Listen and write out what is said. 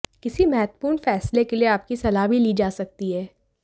किसी महत्वपूर्ण फैसले के लिए आपकी सलाह भी ली जा सकती है